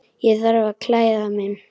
Ég þarf að klæða mig.